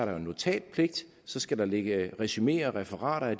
jo notatpligt så skal der ligge resumeer og referater af